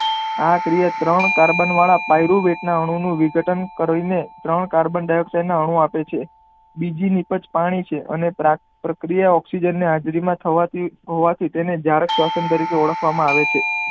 આ ક્રિયા ત્રણ કાર્બન વાળા પાયરુ વેદ ના અણુ નું વિઘટન કરી ને ત્રણ કાર્બનડાયોકસાઈડ ના અણુ આપે છે બીજી નીપજ પાણી છે અને પ્રકિર્યા ઓકઝીજન ની હાજરી માં થવાથી તેને જરાક સ્વંસં તરીકે ઓળખાવા માં આવે છે.